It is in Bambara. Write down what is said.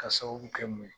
Ka sababu kɛ mun ye